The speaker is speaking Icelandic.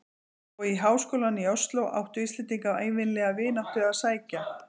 Og í háskólann í Osló áttu Íslendingar ævinlega vináttu að sækja.